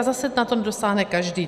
A zase na to nedosáhne každý.